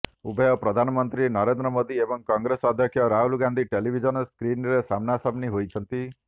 ଉଭୟ ପ୍ରଧାନମନ୍ତ୍ରୀ ନରେନ୍ଦ୍ର ମୋଦି ଏବଂ କଂଗ୍ରେସ ଅଧ୍ୟକ୍ଷ ରାହୁଲ ଗାନ୍ଧୀ ଟେଲିଭିଜନ ସ୍କ୍ରିନରେ ସାମ୍ନାସାମ୍ନି ହୋଇଛନ୍ତି